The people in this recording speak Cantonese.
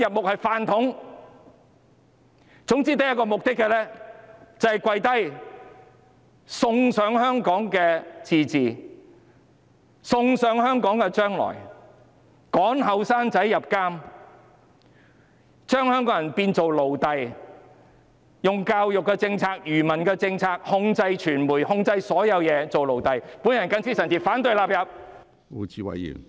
他們是"飯桶"，總之只有一個目的，就是"跪低"，送上香港的自治，送上香港的將來，趕年輕人入獄，將香港人變成奴隸，用教育政策、愚民政策控制傳媒、控制所有人，令大家變成奴隸。